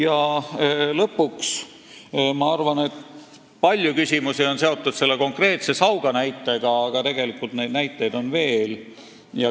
Arvan ka seda, et palju küsimusi on küll seotud konkreetse Sauga näitega, aga tegelikult neid näiteid on veel.